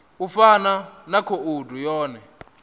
u fana na khoudu yone